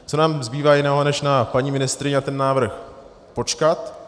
Co nám zbývá jiného, než na paní ministryni a ten návrh počkat.